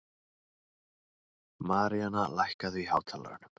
Maríanna, lækkaðu í hátalaranum.